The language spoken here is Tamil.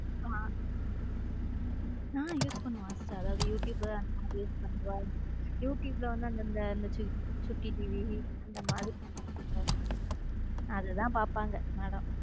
ஆம ஹம் use பண்ணுவா அதாவது youtube அந்த மாதிரி use பண்ணுவ youtube ல வந்து வந்தது சுட்டி TV இந்த மாதிர அதுதான் பார்ப்பாங்க madam.